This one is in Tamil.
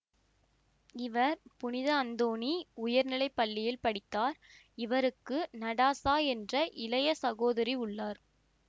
இவர் புனித அந்தோணி உயர்நிலை பள்ளியில் படித்தார் இவருக்கு நடாசா என்ற இளைய சகோதரி உள்ளார்